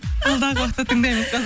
алдағы уақытта тыңдаймыз ба